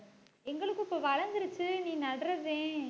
எங்களுக்கு இப்ப வளர்ந்திருச்சு நீ நடுறதே